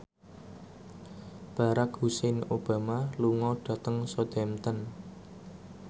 Barack Hussein Obama lunga dhateng Southampton